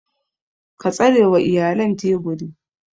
Ka tsarewa iyalan teburi.